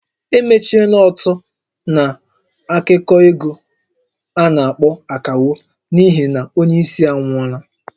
Emechiela ót a na-atụkọ égo a na-akpọ "Akawo" n'ihi na onye isi anwụọla